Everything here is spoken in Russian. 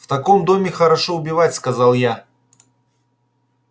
в таком доме хорошо убивать сказал я